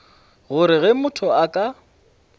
gore ge motho a ka